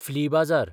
flea बाजार